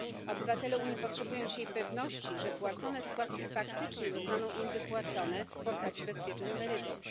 Obywatele Unii potrzebują dzisiaj pewności, że płacone składki faktycznie zostaną im wypłacone w postaci bezpiecznych emerytur.